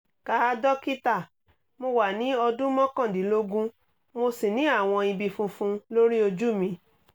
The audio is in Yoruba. káà dókítà mo wà ní ọdún mọ́kàndínlógún mo sì ní àwọn ibi funfun lórí ojú mi